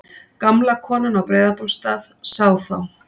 Gamla konan á Breiðabólsstað sá þá.